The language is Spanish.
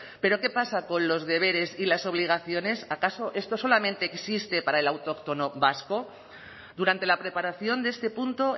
pero qué pasa con los deberes y las obligaciones acaso esto solamente existe para el autóctono vasco durante la preparación de este punto